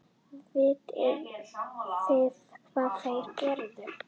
Vitið þið hvað þeir gerðu?